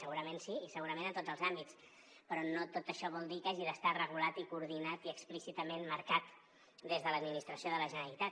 segurament sí i segurament en tots els àmbits però no tot això vol dir que hagi d’estar regulat i coordinat i explícitament marcat des de l’administració de la generalitat